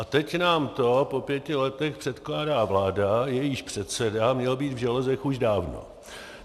A teď nám to po pěti letech předkládá vláda, jejíž předseda měl být v železech už dávno.